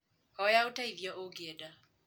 Hoya ũteithio ũngĩenda.